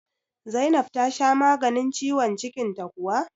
Zainab tasha maganin ciwon cikin ta kuwa?